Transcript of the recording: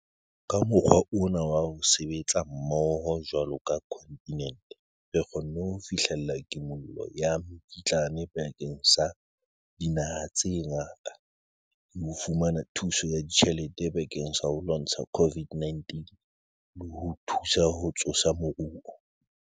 Ka mokgwa ona wa ho sebetsa mmoho jwalo ka kontinente, re kgonne ho fihlella kimollo ya mekitlane bakeng sa dinaha tse ngata le ho fumana thuso ya tjhelete bakeng sa ho lwantsha COVID-19 le ho thusa ho tsosa moruo.